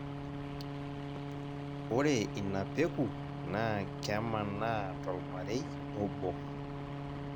ore ina peku naa kemanaa tolmarei obo.